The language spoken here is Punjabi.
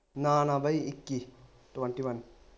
ਨਾ ਨਾ ਬਈ ਇੱਕੀ twenty one